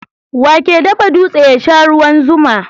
Wane ke dafa dutse ya sha ruwan zuma?